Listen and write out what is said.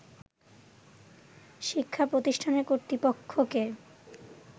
“শিক্ষা প্রতিষ্ঠানের কর্তৃপক্ষকে